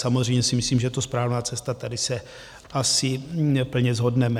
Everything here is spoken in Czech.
Samozřejmě si myslím, že to správná cesta, tady se asi plně shodneme.